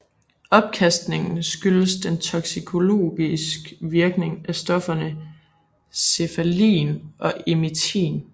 Opkastningen skyldes den toksikologisk virkning af stofferne cephaelin og emitin